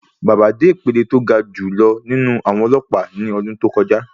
Baba dé ìpele tó ga jù lọ nínú àwọn ọlọ́pàá ní ọdún tó kọjá.